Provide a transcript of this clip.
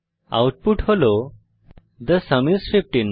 output হল the sum is 15